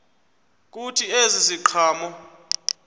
kuthi ezi ziqhamo